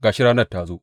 Ga shi ranar ta zo!